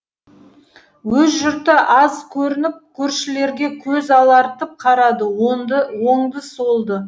өз жұрты аз көрініп көршілерге көз алартып қарады оңды солды